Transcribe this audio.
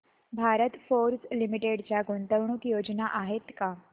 Bharat Forge Limited च्या गुंतवणूक योजना आहेत का